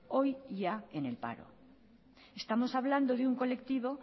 hoy ya en el paro estamos hablando de un colectivo